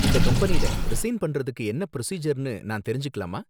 இந்த கம்பெனில, ரிசைன் பண்றதுக்கு என்ன பிரொசீஜர்னு நான் தெரிஞ்சுக்கலாமா?